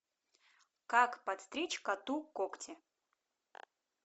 как подстричь коту когти